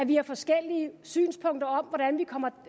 vi har forskellige synspunkter om hvordan vi kommer